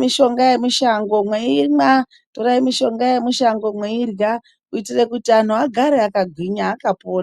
mitombo yemishango meimwa kuitira kuti vandu vagare vakagwinya akapona .